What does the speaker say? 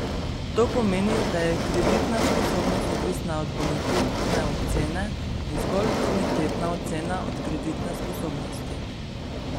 To pomeni, da je kreditna sposobnost odvisna od bonitetne ocene in zgolj bonitetna ocena od kreditne sposobnosti.